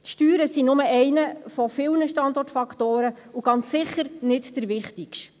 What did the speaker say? Die Steuern sind nur einer von vielen Standortfaktoren und ganz sicher nicht der wichtigste.